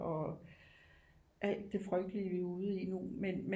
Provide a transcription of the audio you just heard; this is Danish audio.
Og alt det frygtelige vi er ude i nu men